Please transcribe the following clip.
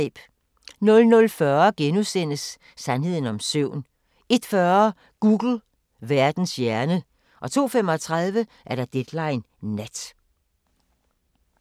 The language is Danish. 00:40: Sandheden om søvn * 01:40: Google – Verdens hjerne 02:35: Deadline Nat